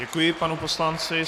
Děkuji panu poslanci.